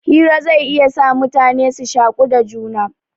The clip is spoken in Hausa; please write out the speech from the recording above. Hira zai iya sa mutane su shaku da juna.